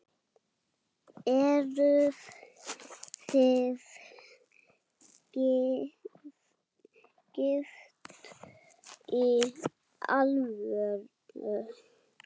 Eruð þið gift í alvöru?